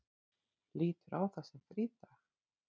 Lítur á þá sem frídaga.